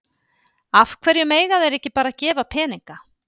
Af hverju mega þeir ekki bara gefa peninga?